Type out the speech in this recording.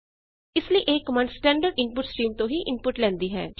ਇਸ ਲਈ ਇਹ ਕਮਾੰਡ ਸਟੈਂਡਰਡ ਇਨਪੁਟ ਸਟ੍ਰੀਮ ਤੋਂ ਹੀ ਇਨਪੁਟ ਲੈਂਦੀ ਹੈ